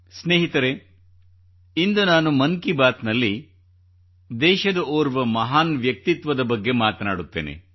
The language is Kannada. ಸ್ನೇಹಿತರೇ ಇಂದು ನಾನು ಮನ್ ಕಿ ಬಾತ್ ನಲ್ಲಿ ದೇಶದ ಓರ್ವ ಮಹಾನ್ ವ್ಯಕ್ತಿತ್ವದ ಬಗ್ಗೆ ಮಾತನಾಡುತ್ತೇನೆ